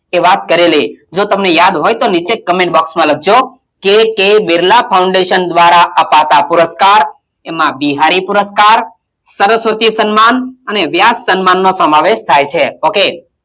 એ વાત કરેલી જો તમને યાદ હોય તો નીચે comment box માં લખજો k. k. બિરલા foundation દ્વારાં અપાતાં પુરસ્કાર એમાં બિહારી પુરસ્કાર, સરસ્વતી સન્માન અને વ્યાસ સન્માનનો સમાવેશ થાય છે ok